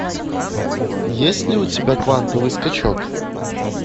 есть ли у тебя квантовый скачок